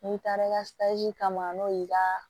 N'i taara i ka kama n'o y'i ka